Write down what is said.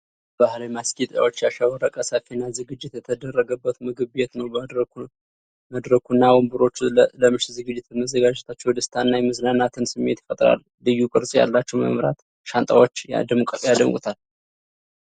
በባህላዊ ማስጌጫዎች ያሸበረቀ ሰፊና ዝግጅት የተደረገበት ምግብ ቤት ነው። መድረኩና ወንበሮቹ ለምሽት ዝግጅት መዘጋጀታቸው የደስታንና የመዝናናትን ስሜት ይፈጥራል፤ ልዩ ቅርጽ ያላቸው የመብራት ሻንጣዎች ያደምቁታል።